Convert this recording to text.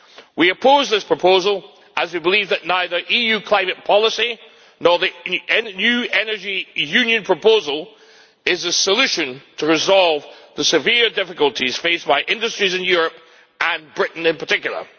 We oppose this proposal as we believe that neither EU climate policy nor the new Energy Union proposal is a solution to resolve the severe difficulties faced by industries in Europe, and Britain in particular.